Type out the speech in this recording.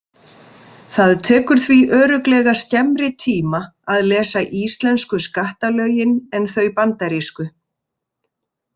Það tekur því örugglega skemmri tíma að lesa íslensku skattalögin en þau bandarísku.